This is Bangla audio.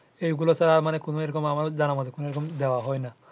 এগুলা সারা কোনো এরকম জানা মোতে আর কোনো দেওয়া হয় না